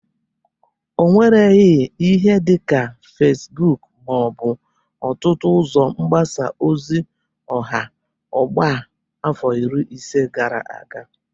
O nwereghi ihe dịka Fesbụk ma ọ bụ ọtụtụ ụzọ mgbasa ozi ọha ọgbọ a afọ iri ise gara aga.